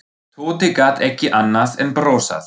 Tóti gat ekki annað en brosað.